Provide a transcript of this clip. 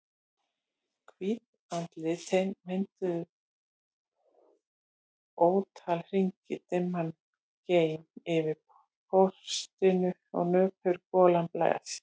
Hvít andlitin mynduðu ótal hringi, dimman gein yfir portinu og nöpur golan blés.